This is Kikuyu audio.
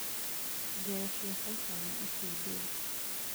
Ngero cia baita wa itindiĩ